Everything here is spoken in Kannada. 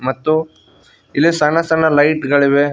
ಮತ್ತು ಇಲ್ಲಿ ಸಣ್ಣ ಸಣ್ಣ ಲೈಟ್ ಗಳಿವೆ.